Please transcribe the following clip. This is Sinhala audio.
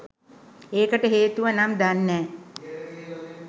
ඒකට හේතුව නම් දන්නෑ.